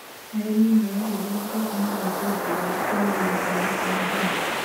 Arĩmi marahũthĩra tekinoronjĩ njerũ kũagĩrithia ũciarithania.